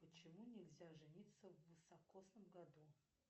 почему нельзя жениться в високосном году